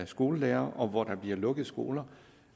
skolelærere og hvor der bliver lukket skoler